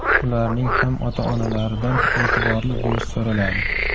Ularning ham ota-onalaridan e’tiborli bo‘lish so‘raladi.